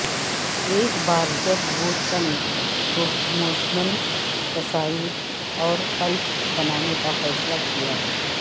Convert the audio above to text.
ایک بار جب وہ چند پروموشنل تصاویر اور کلپس بنانے کا فیصلہ کیا